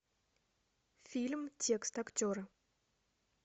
фильм текст актеры